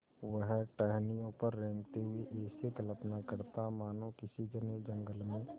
वह टहनियों पर रेंगते हुए ऐसी कल्पना करता मानो किसी घने जंगल में